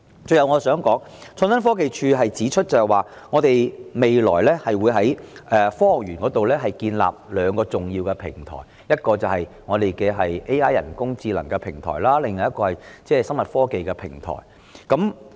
最後，我想說，創科局指出未來會在科學園建立兩個重要創新平台，即 AI 及機械人科技創新平台，而另一個是醫療科技創新平台。